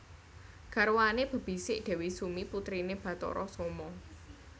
Garwane bebisik Dewi Sumi putrine Bathara Soma